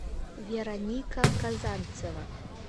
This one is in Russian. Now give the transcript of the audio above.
вероника казанцева